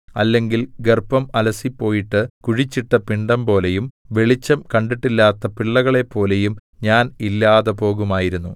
അല്ലെങ്കിൽ ഗർഭം അലസിപ്പോയിട്ട് കുഴിച്ചിട്ട പിണ്ഡംപോലെയും വെളിച്ചം കണ്ടിട്ടില്ലാത്ത പിള്ളകളെപ്പോലെയും ഞാൻ ഇല്ലാതെ പോകുമായിരുന്നു